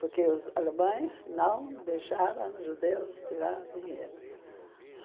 Porque os alemães não deixaram judeus tirar dinheiro.